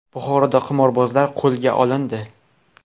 Buxoroda qimorbozlar qo‘lga olindi.